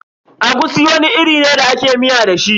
Egusi wani iri ne da ake miya da shi.